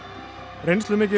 reynslumikil